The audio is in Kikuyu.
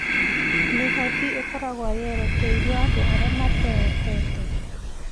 Mĩhothi ĩkoragwo yerekeirio andĩ arĩa matehotete